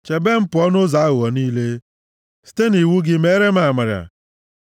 Chebe m pụọ nʼụzọ aghụghọ niile; site nʼiwu gị meere m amara.